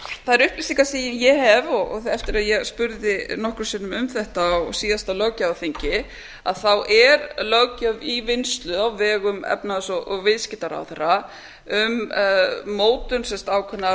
þær upplýsingar sem ég hef eftir að ég spurðist nokkrum sinnum fyrir um þetta á síðasta löggjafarþingi þá er löggjöf í vinnslu á vegum efnahags og viðskiptaráðherra um mótun ákveðinnar